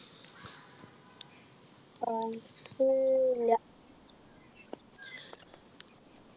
songs ഇല്ല